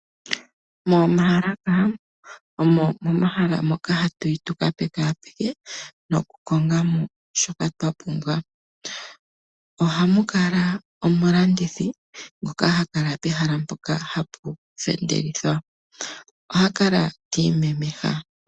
Moomaalaka omo momahala moka ha tu yi tu ka pekapeke noku konga mo shoka twa pumbwa. Oha mu kala omulandithi ngoka ha kala pehala mpoka ha pu fendelelwa. Oha kala ta imemeha.